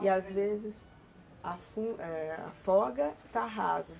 E às vezes, afoga está raso.